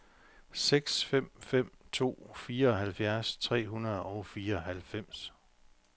seks fem fem to fireoghalvfems tre hundrede og fireoghalvfems